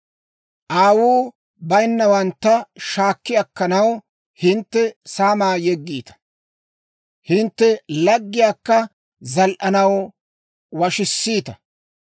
Aawuu bayinnawantta shaakki akkanaw hintte saamaa yeggiita; hintte laggiyaakka zal"anaw washissiita.